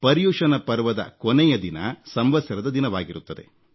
ಪರ್ಯುಶನ ಪರ್ವದ ಕೊನೆಯ ದಿನ ಸಂವತ್ಸರದ ದಿನವಾಗಿರುತ್ತದೆ